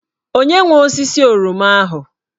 Onye nwe osisi oroma ahụ?